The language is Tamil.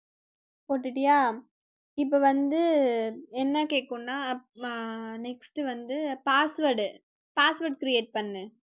போட்டுட்டியா இப்ப வந்து என்ன கேக்கும்னா அஹ் next வந்து password password create பண்ணு